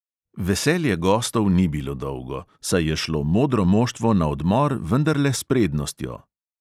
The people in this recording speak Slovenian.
Veselje gostov ni bilo dolgo, saj je šlo modro moštvo na odmor vendarle s prednostjo.